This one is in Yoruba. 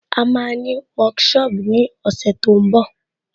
À máa ní workshop ní ọ̀sẹ̀ tó ń bọ̀